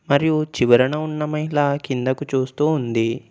మరియు చివరన ఉన్న మహిళ కిందకు చూస్తూ ఉంది.